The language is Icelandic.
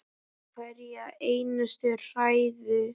Hverja einustu hræðu!